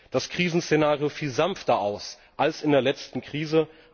Das Krisenszenario fiel sanfter aus als in der letzten Krise.